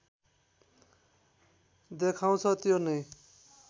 देखाउँछ त्यो नै